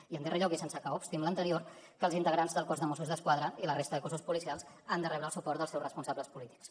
i en darrer lloc i sense que obsti amb l’anterior que els integrants del cos de mossos d’esquadra i la resta de cossos policials han de rebre el suport dels seus responsables polítics